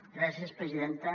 gràcies presidenta